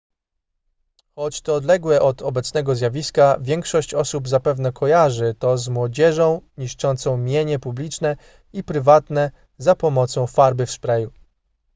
choć to odległe od obecnego zjawiska większość osób zapewne kojarzy to z młodzieżą niszczącą mienie publiczne i prywatne za pomocą farby w sprayu